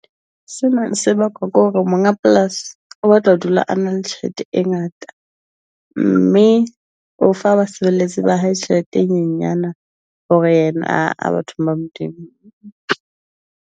Sena se bakwa ke hore monga polasi o batla ho dula a nang le tjhelete e ngata. Mme o fa basebeletsi ba hae tjhelete e nyenyane. Hore yena a batho ba Modimo .